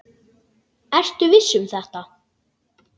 Ertu viss um þetta?